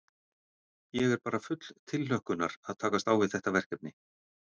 Ég er bara full tilhlökkunar að takast á við þetta verkefni.